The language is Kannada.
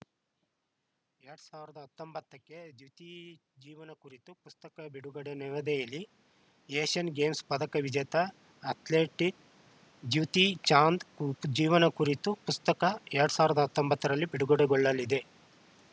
ಎರಡ್ ಸಾವಿರದ ಹತ್ತೊಂಬತ್ತ ಕ್ಕೆ ದ್ಯುತಿ ಜೀವನ ಕುರಿತು ಪುಸ್ತಕ ಬಿಡುಗಡೆ ನವದೆಹಲಿ ಏಷ್ಯನ್‌ ಗೇಮ್ಸ್‌ ಪದಕ ವಿಜೇತ ಅಥ್ಲೀಟ್‌ ದ್ಯುತಿ ಚಾಂದ್‌ ಜೀವನ ಕುರಿತ ಪುಸ್ತಕ ಎರಡ್ ಸಾವಿರದ ಹತ್ತೊಂಬತ್ತರಲ್ಲಿ ಬಿಡುಗಡೆಗೊಳ್ಳಲಿದೆ